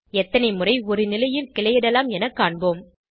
எத்தனை முறை ஒரு நிலையில் கிளையிடலாம் என காண்போம்